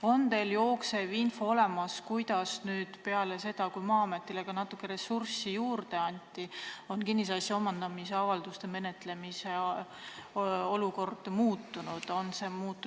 Kas teil on info olemas, kuidas on nüüd peale seda, kui Maa-ametile ka natuke ressurssi juurde anti, kinnisasja omandamise avalduste menetlemise olukord muutunud?